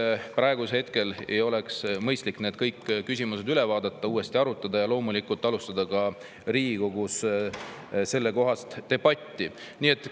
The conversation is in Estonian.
Kas praegu ei oleks mõistlik kõik need üle vaadata, neid uuesti arutada ja loomulikult alustada ka Riigikogus sellekohast debatti?